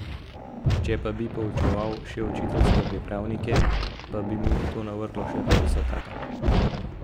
Če pa bi poučeval še učiteljske pripravnike , pa bi mu to navrglo še petdesetaka.